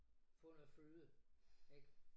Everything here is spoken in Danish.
Få noget føde ik